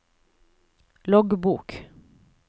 loggbok